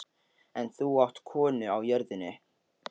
En þú átt konu á jörðinni.